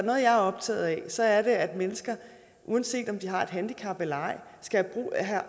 jeg er optaget af så er det at mennesker uanset om de har et handicap eller ej